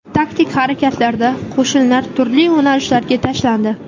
Taktik harakatlarda qo‘shinlar turli yo‘nalishlarga tashlandi.